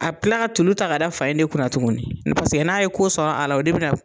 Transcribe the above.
A bi kila ka tulu ta ka da fa in de kunna tuguni paseke n'a ye ko sɔrɔ a la o de bina